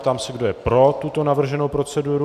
Ptám se, kdo je pro tuto navrženou proceduru.